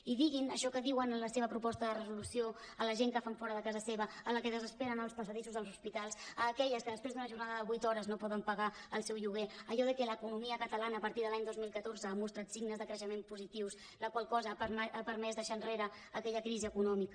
i diguin això que diuen en la seva proposta de reso·lució a la gent que fan fora de casa seva a la que desespera en els passadissos dels hospitals a aquelles que després d’una jornada de vuit hores no poden pagar el seu lloguer allò que l’economia catalana a partir de l’any dos mil catorze ha mostrat signes de crei·xement positius la qual cosa ha permès deixar enrere aquella crisi econòmica